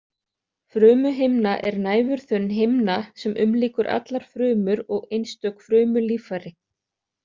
Frumuhimna er næfurþunn himna sem umlykur allar frumur og einstök frumulíffæri.